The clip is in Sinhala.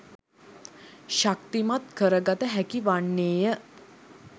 ශක්තිමත් කරගත හැකි වන්නේය.